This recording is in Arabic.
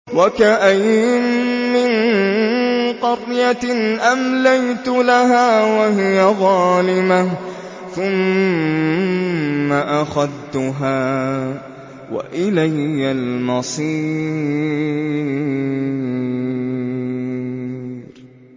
وَكَأَيِّن مِّن قَرْيَةٍ أَمْلَيْتُ لَهَا وَهِيَ ظَالِمَةٌ ثُمَّ أَخَذْتُهَا وَإِلَيَّ الْمَصِيرُ